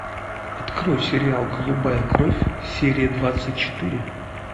открой сериал голубая кровь серия двадцать четыре